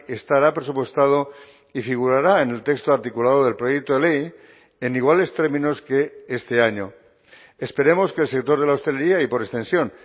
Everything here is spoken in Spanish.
estará presupuestado y figurará en el texto articulado del proyecto de ley en iguales términos que este año esperemos que el sector de la hostelería y por extensión